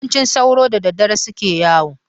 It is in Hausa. Yawanci sauro da dadadare suke yawo.